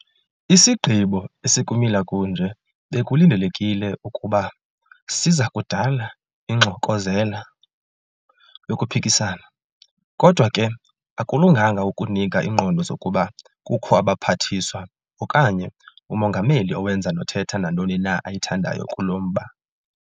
Isigqibo esikumila kunje bekulindelekile ukuba siza kudala ingxokozela yokuphikisana, kodwa ke akulunganga ukunika iingqondo zokuba kukho abaPhathiswa okanye uMongameli owenza nothetha nantoni na ayithandayo kulo mba.